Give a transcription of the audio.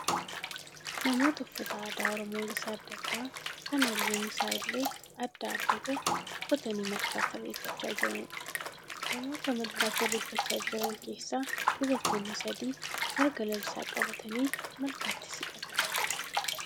Namoota uffata aadaa Oromoo gosa adda addaa kan halluun isaa illee adda adda ta'e uffatanii malkaatti irreeffachaa jiraniidha. Namoota malkaatti irreeffachaa jiran keessaa dubartoonni sadii marga lalisaa qabatanii malkaatti siqatanii jiru.